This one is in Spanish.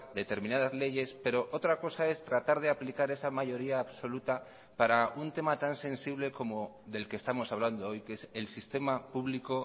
determinadas leyes pero otra cosa es tratar de aplicar esa mayoría absoluta para un tema tan sensible como del que estamos hablando hoy que es el sistema público